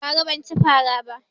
Bara ban cin fara ba